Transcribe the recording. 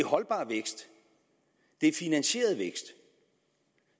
holdbar vækst det er finansieret vækst